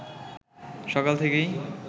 সকাল থেকেই